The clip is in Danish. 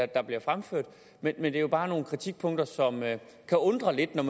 der bliver fremført men det er bare nogle kritikpunkter som kan undre lidt når